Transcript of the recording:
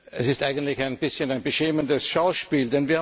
Es ist eigentlich ein bisschen ein beschämendes Schauspiel.